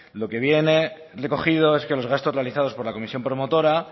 lo que viene recogido es que los gastos realizados por la comisión promotora